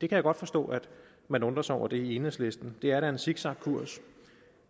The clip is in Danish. det kan jeg godt forstå man undrer sig over i enhedslisten det er da en zigzagkurs